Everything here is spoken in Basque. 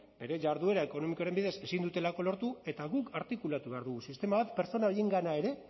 bere jarduera ekonomikoren bidez ezin dutelako lortu eta guk artikulatu behar dugu sistema bat pertsona horiengana ere